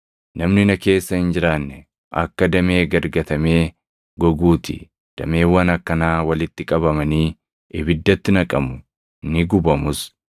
Namni na keessa hin jiraanne akka damee gad gatamee goguu ti. Dameewwan akkanaa walitti qabamanii ibiddatti naqamu; ni gubamus.